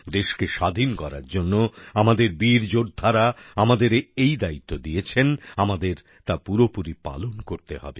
দেশকে স্বাধীন করার জন্য আমাদের বীর যোদ্ধারা আমাদের এই দায়িত্ব দিয়েছেন আমাদের তা পুরোপুরি পালন করতে হবে